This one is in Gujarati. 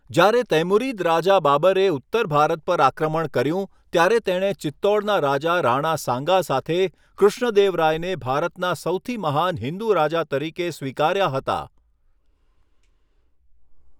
જ્યારે તૈમુરીદ રાજા બાબરે ઉત્તર ભારત પર આક્રમણ કર્યું ત્યારે તેણે ચિત્તોડના રાજા રાણા સાંગા સાથે કૃષ્ણદેવરાયને ભારતના સૌથી મહાન હિંદુ રાજા તરીકે સ્વીકાર્યા હતા.